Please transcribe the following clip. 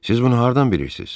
Siz bunu hardan bilirsiz?